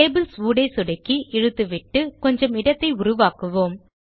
tables ஊடே சொடுக்கி இழுத்துவிட்டு கொஞ்சம் இடத்தை உருவாக்குவோம்